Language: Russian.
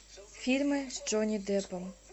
фильмы с джонни деппом